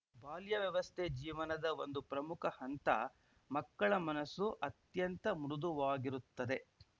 ಬಾಲ್ಯ ವ್ಯವಸ್ಥೆ ಜೀವನದ ಒಂದು ಪ್ರಮುಖ ಹಂತ ಮಕ್ಕಳ ಮನಸ್ಸು ಅತ್ಯಂತ ಮೃದುವಾಗಿರುತ್ತದೆ